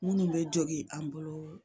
Minnu bɛ jɔgin an bolo